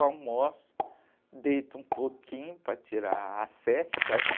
Eu almoço, deito um pouquinho para tirar a sesta.